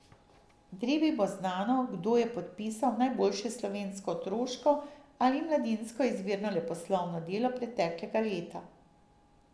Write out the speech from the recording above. Drevi bo znano, kdo je podpisal najboljše slovensko otroško ali mladinsko izvirno leposlovno delo preteklega leta.